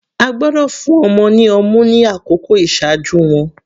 A gbọ́dọ̀ fún ọmọ ní ọmú ni àkókò iṣaaju wọn.